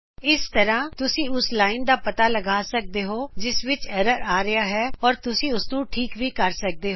ਇਸ ਤਰਾ ਤੁਸੀ ਉਸ ਲਾਈਨ ਦਾ ਪਤਾ ਲਗਾ ਸਕਦੇ ਹੋ ਜਿਸ ਵਿਚ ਐਰਰ ਆ ਰਿਹਾ ਹੈ ਤੇ ਉਸਨੂੰ ਠੀਕ ਵੀ ਕਰ ਸਕਦੇ ਹੋ